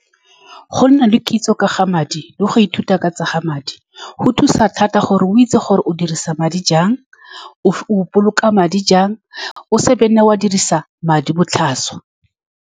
Go nna le kitso ka ga madi le go ithuta ka tsa ga madi go thusa thata gore o itse gore o dirisa madi jang, o o boloka madi jang, o se ke wa nna wa dirisa madi botlhaswa.